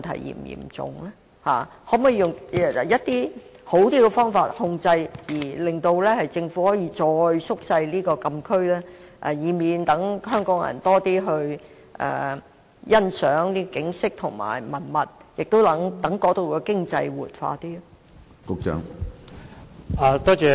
可否採用較好的方法來控制，令政府可以進一步縮減禁區範圍，好讓香港人能前往該區欣賞景色和文物，亦有助活化該處的經濟？